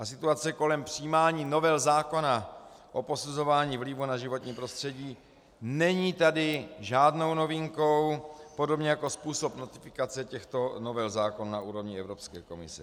A situace kolem přijímání novel zákona o posuzování vlivu na životní prostředí není tady žádnou novinkou, podobně jako způsob notifikace těchto novel zákona na úrovni Evropské komise.